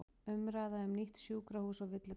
Umræða um nýtt sjúkrahús á villigötum